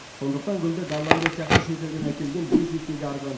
сондықтан гүлді голландия сияқты шетелден әкелген бес есеге арзан